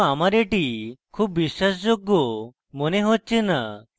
কিন্তু আমার এটি খুব বিশ্বাসযোগ্য মনে হচ্ছে না